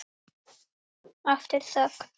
Aftur þögn.